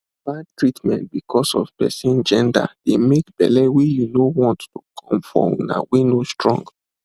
bad treatment because of person gender dey make belle wey you no want to come for una wey no strong